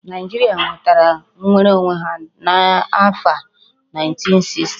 Naijiria nwetara nwere onwe ha n'afo 1960